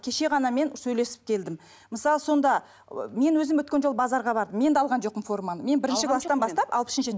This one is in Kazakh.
кеше ғана мен сөйлесіп келдім мысалы сонда ы мен өзім өткен жолы базарға бардым мен де алған жоқпын форманы мен бірінші класстан бастап алпыс үшінші